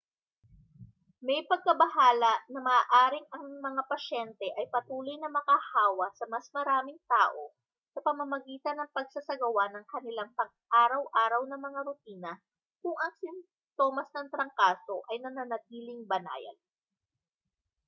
may pagkabahala na maaaring ang mga pasyente ay patuloy na makahawa sa mas maraming tao sa pamamagitan ng pagsasagawa ng kanilang pang-araw-araw na mga rutina kung ang sintomas ng trangkaso ay nananatiling banayad